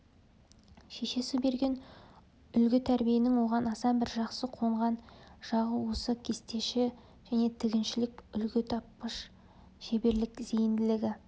шешесі берген үлгі тәрбиенің оған аса бір жақсы қонған жағы осы кестеші және тігіншілік үлгі тапқыш шеберлік зейінділігі